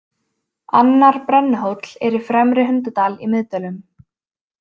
Annar Brennuhóll er í Fremri-Hundadal í Miðdölum.